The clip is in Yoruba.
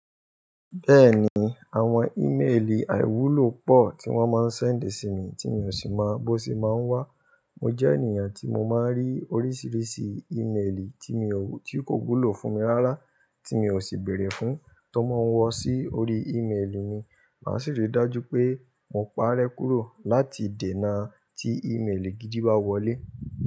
Bẹ́ẹ̀ni, àwọn ímeèlì àìwúlò pọ̀ tí wọ́n máa ń sẹ́ǹdì sí mi tí mi ò sì mọ bó ṣe máa ń wá. Mo jẹ́ ènìyàn tí mo máa ń rí oríṣiríṣi ímeèlì tí mi ò, tí kò wúlò fún mi rárá, tí mi ò sì bèèrè fún, tó máa ń wọ sí orí ímeèlì mi. Mà ṣì rí dájú pé mo pàrẹ́ kúrò láti dènà tí ímeèlì gidi bá wọlé.